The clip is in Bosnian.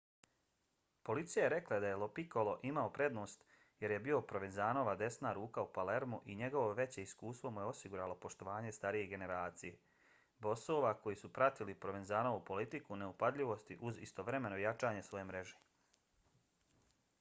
policija je rekla da je lo piccolo imao prednost jer je bio provenzanova desna ruka u palermu i njegovo veće iskustvo mu je osiguralo poštovanje starije generacije bosova koji su pratili provenzanovu politiku neupadljivosti uz istovremeno jačanje svoje mreže